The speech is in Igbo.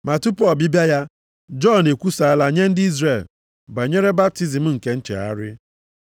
Ma tupu ọbịbịa ya, Jọn ekwusala nye ndị Izrel banyere baptizim nke nchegharị.